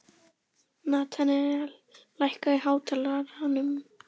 Natanael, lækkaðu í hátalaranum.